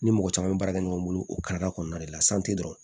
Ni mɔgɔ caman bɛ baara kɛ ɲɔgɔn bolo o karida kɔnɔna de la dɔrɔn